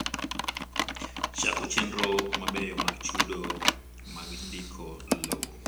Chako chenro mabeyo mag chudo mag ndiko lowo.